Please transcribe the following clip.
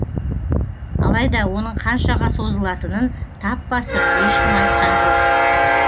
алайда оның қаншаға созылатынын тап басып ешкім айтқан жоқ